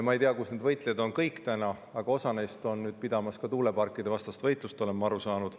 Ma ei tea, kus kõik need võitlejad täna on, aga osa neist peab nüüd tuuleparkidevastast võitlust, olen ma aru saanud.